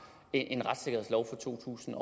en retssikkerhedslov fra to tusind